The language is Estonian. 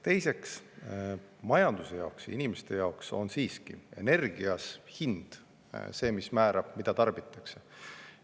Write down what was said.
Teiseks, majanduse jaoks, inimeste jaoks on siiski energias hind see, mis määrab, mida tarbitakse.